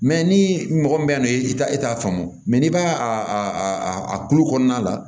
ni mɔgɔ min bɛ n'o ye i ta e t'a faamu n'i b'a a kulu kɔnɔna la